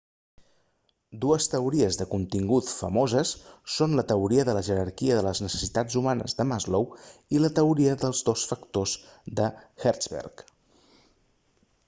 dues teories de contingut famoses són la teoria de la jerarquia de les necessitats humanes de maslow i la teoria dels dos factors de hertzberg